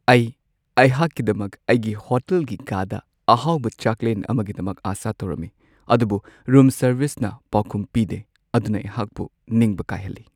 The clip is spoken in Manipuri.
ꯑꯩ ꯑꯩꯍꯥꯛꯀꯤꯗꯃꯛ ꯑꯩꯒꯤ ꯍꯣꯇꯦꯜꯒꯤ ꯀꯥꯗ ꯑꯍꯥꯎꯕ ꯆꯥꯛꯂꯦꯟ ꯑꯃꯒꯤꯗꯃꯛ ꯑꯥꯁꯥ ꯇꯧꯔꯝꯃꯤ, ꯑꯗꯨꯕꯨ ꯔꯨꯝ ꯁꯔꯚꯤꯁꯅ ꯄꯥꯎꯈꯨꯝ ꯄꯤꯗꯦ ꯑꯗꯨꯅ ꯑꯩꯍꯥꯛꯄꯨ ꯅꯤꯡꯕ ꯀꯥꯏꯍꯜꯂꯤ꯫